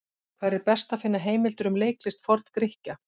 Hvar er best að finna heimildir um leiklist Forn-Grikkja?